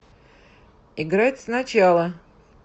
играть сначала